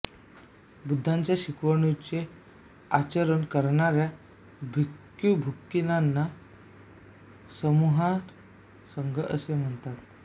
बुद्धांच्या शिकवणुकीचे आचरण करणाऱ्या भिक्खूभिक्खूंनींच्या समूहास संघ असे म्हणतात